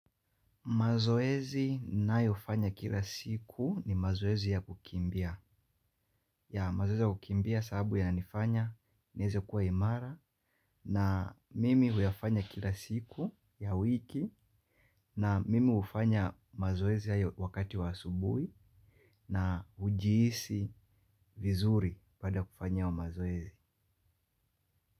Mazoezi ninayofanya kila siku ni mazoezi ya kukimbia. Ya mazoezi ya kukimbia sababu ya nifanya niweze kuwa imara na mimi huyafanya kila siku ya wiki na mimi hufanya mazoezi ya wakati wa asubuhi na hujihisi vizuri baada ya kufanya mazoezi.